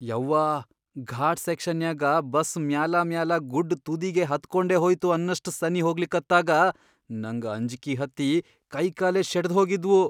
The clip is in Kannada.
ಯವ್ವಾ ಘಾಟ್ ಸೆಕ್ಷನ್ಯಾಗ ಬಸ್ ಮ್ಯಾಲಾಮ್ಯಾಲಾ ಗುಡ್ಡ್ ತುದಿಗಿ ಹತ್ಕೊಂಡೇ ಹೋಯ್ತು ಅನ್ನಷ್ಟ್ ಸನೀ ಹೋಗ್ಲಿಕತ್ತಾಗ ನಂಗ್ ಅಂಜ್ಕಿ ಹತ್ತಿ ಕೈಕಾಲೇ ಶೆಟದ್ಹೋಗಿದ್ವು.